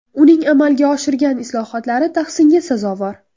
Uning amalga oshirgan islohotlari tahsinga sazovor.